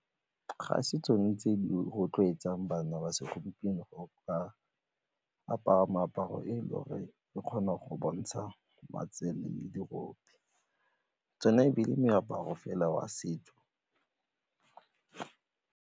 Ga se tsone tse di rotloetsang bana ba segompieno go ka apara meaparo e e lo re kgona go bontsha matsele le dirope, tsona e be e le meaparo fela wa setso.